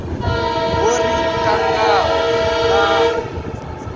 ho ri tangaho na u